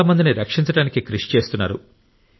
చాలా మందిని రక్షించడానికి కృషి చేస్తున్నారు